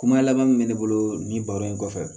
Kuma laban min bɛ ne bolo nin baro in kɔfɛ